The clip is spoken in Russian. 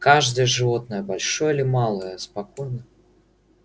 каждое животное большое или малое спокойно